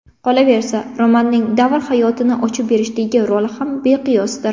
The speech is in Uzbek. Qolaversa, romanning davr hayotini ochib berishdagi roli ham beqiyosdir.